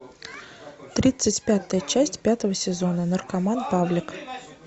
тридцать пятая часть пятого сезона наркоман павлик